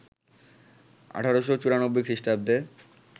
১৮৯৪ খ্রিস্টাব্দে